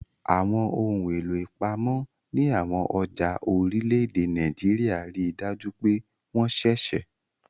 Àwọn ohun èlò ìpamọ́ ní àwọn ọjà orílẹ̀-èdè Nàìjíríà rí i dájú pé wọ́n ṣẹ̀ṣẹ̀